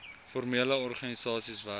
formele organisasies werk